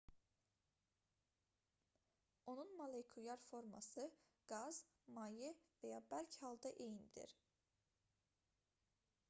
onun molekulyar forması qaz maye və ya bərk halda eynidir